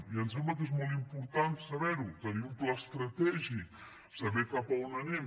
i em sembla que és molt important saber ho tenir un pla estratègic saber cap on anem